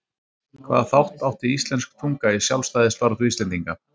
Hvaða þátt átti íslensk tunga í sjálfstæðisbaráttu Íslendinga?